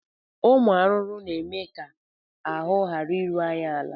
Ụmụ arụrụ na-eme ka ahụ ghara iru anyị ala